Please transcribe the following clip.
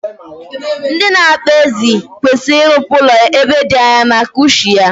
Ndị na-akpa ezi kwesiri irụpụ ụlọ ya ebe di anya, maka ushi ya